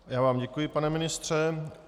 Já vám děkuji, pane ministře.